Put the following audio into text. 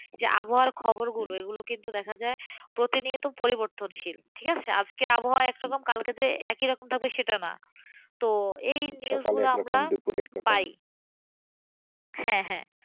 যে আবহাওয়ার খবর গুলো এগুলো কিন্তু দেখা যায় প্রতিনিয়ত পরিবর্তনশীলঠিক আছে, আজকের আবহাওয়া একরকম কালকে যে একই থাকবে সেটা নাএই নিউজগুলো আমরা পাইহ্যাঁ হ্যাঁ,